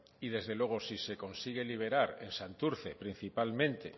y desde luego si se consigue liberar en santurce principalmente